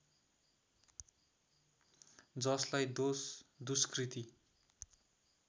जसलाई दोष दुष्कृति